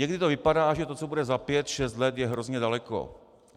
Někdy to vypadá, že to, co bude za pět šest let, je hrozně daleko.